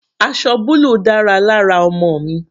Aṣọ búlù dára lára ọmọ mi.